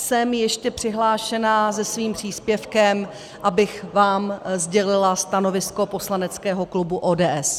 Jsem ještě přihlášená se svým příspěvkem, abych vám sdělila stanovisko poslaneckého klubu ODS.